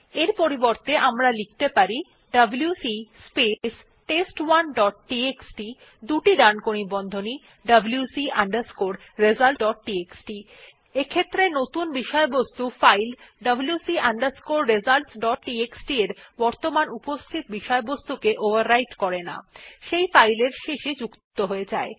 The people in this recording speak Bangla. এর পরিবর্তে আমরা লিখতে পারি WC space test one dot TXT দুটি ডানকোণী বন্ধনী WC underscore results dot TXT নতুন বিষয়বস্তু file WC underscore results dot TXT এর বর্তমান উপস্থিত বিষয়বস্তু ওভাররাইট করে না সেই ফাইল এর শেষে যুক্ত হয়ে যায়